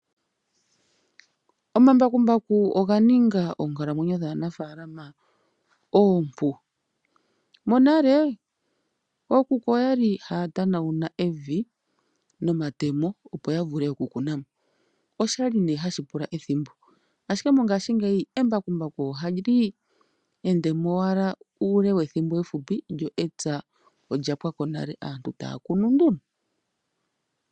Omambakumbaku oga ninga oonkalamwenyo dhaanafalama oompu, monale ookuku oyali haya tanauna evi noma temo opo ya vule oku kunamo. Oshali ne hashi pula ethimbo ashike mongashingeyi embakumbaku ohali endemo owala uule wethimbo efupi lyo etsa olya pwako nale, aantu taya kunu nduno.